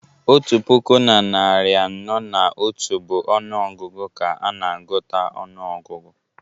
Otu puku na narị anọ na otu bụ ọnụ ọgụgụ ka a na-agụta ọnụọgụgụ